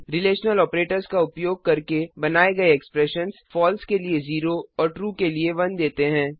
relational operators का उपयोग करके बनाये गए एक्सप्रेशंस फलसे के लिए 0 और ट्रू के लिए 1 देते हैं